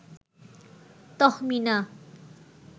Tahmina